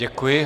Děkuji.